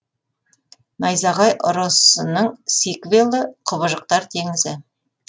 найзағай ұрысының сиквелі құбыжықтар теңізі